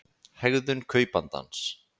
hegðun kaupandans